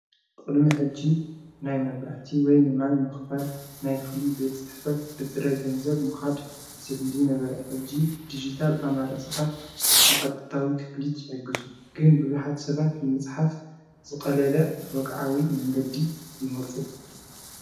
ቕድሚ ሕጅ ናይ መብራህቲ ወይ ንማይ ምኽፋል ናይ ፍሊ ቤት ጽሕፈት ብጥደ ገንዘብ ምዃድ ስድሊ ነበረ ሕጅ ዲጅታል ኣማራጽታት ንቐጥታዊ ክፍሊት ይሕግዙን ግን ብብኃት ሰባት ንምጽሓፍ ዝቐለለ ወቕዓዊ መንገዲ ይመርፁ።